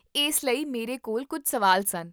ਇਸ ਲਈ ਮੇਰੇ ਕੋਲ ਕੁੱਝ ਸਵਾਲ ਸਨ